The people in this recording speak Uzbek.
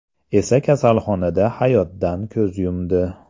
esa kasalxonada hayotdan ko‘z yumdi.